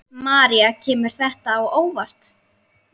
María: Kemur þetta á óvart?